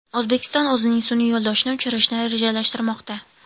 O‘zbekiston o‘zining sun’iy yo‘ldoshini uchirishni rejalashtirmoqda.